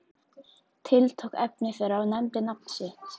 Tiltók efni þeirra og nefndi nafn þitt.